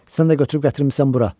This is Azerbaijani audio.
Sən də götürüb gətirmisən bura.